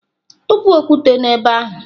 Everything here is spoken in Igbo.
Tụpụ okwute n'ebe ahụ!